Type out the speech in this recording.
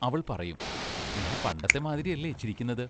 അവൾ പറയും: ഞാൻ പണ്ടത്തെ മാതിരിയല്ലേ ചിരിക്കുന്നത്?